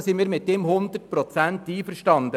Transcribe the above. Darin sind wir mit ihm hundertprozentig einverstanden.